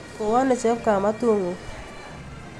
Kowo ano chepkamatut' nguk.